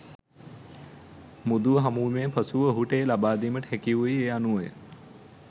මුදුව හමුවීමෙන් පසුව ඔහුට එය ලබාදීමට හැකි වූයේ ඒ අනුවය.